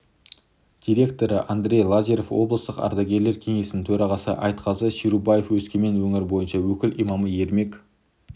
директоры андрей лазарев облыстық ардагерлер кеңесінің төрағасы айтқазы шерубаев өскемен өңірі бойынша өкіл имамы ермек